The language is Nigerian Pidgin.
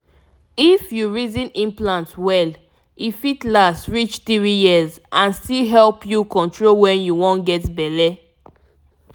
if you reason implant well e fit last reach three years and still help you control when you wan get belle.